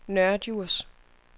Nørre Djurs